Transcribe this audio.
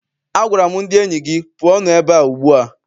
Agwara m ndị enyi gị, pụọnụ ebea ugbu a!